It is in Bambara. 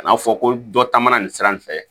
Kana fɔ ko dɔ taamana nin sira in fɛ